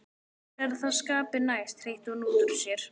Mér er það skapi næst, hreytti hún útúr sér.